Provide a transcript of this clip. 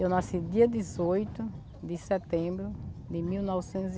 Eu nasci dia dezoito de setembro de mil novecentos e